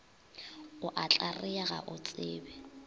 o a tlarea ga otsebe